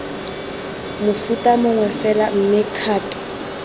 mofuta mongwe fela mme dikgato